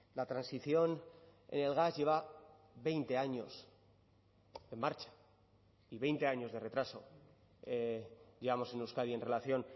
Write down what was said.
la transición el gas lleva veinte años en marcha y veinte años de retraso llevamos en euskadi en relación